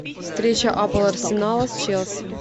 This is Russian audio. встреча апл арсенала с челси